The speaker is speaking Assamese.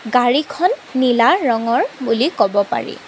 গাড়ীখন নীলা ৰঙৰ বুলি কব পাৰি।